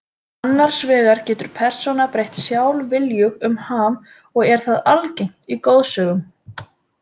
Annars vegar getur persóna breytt sjálfviljug um ham og er það algengt í goðsögum.